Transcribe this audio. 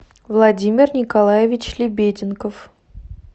владимир николаевич лебеденков